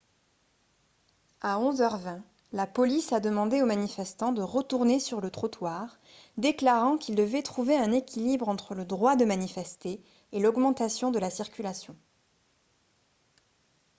à 11 h 20 la police a demandé aux manifestants de retourner sur le trottoir déclarant qu'ils devaient trouver un équilibre entre le droit de manifester et l'augmentation de la circulation